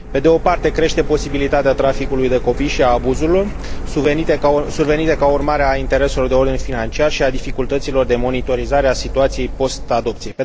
Pe de o parte, crește posibilitatea traficului de copii și a abuzurilor survenite ca urmare a intereselor de ordin financiar și a dificultăților de monitorizare a situației post adopție.